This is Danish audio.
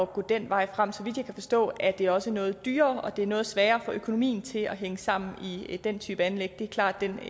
gå den vej frem så vidt jeg kan forstå er det også noget dyrere og det er noget sværere at få økonomien til at hænge sammen i den type anlæg det er klart den